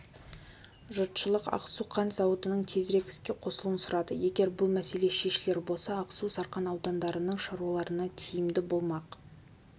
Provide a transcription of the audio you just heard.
жұртшылық ақсу қант зауытының тезірек іске қосылуын сұрады егер бұл мәселе шешілер болса ақсу сарқан аудандарының шаруаларына тиімді боламақ